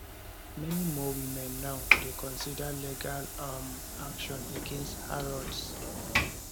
many more women now dey consider legal um action against harrods